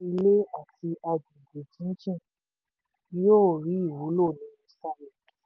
iléeṣẹ́ ilé àti àgbègbè jíjìn yóò rí ìwúlò nínú starlink.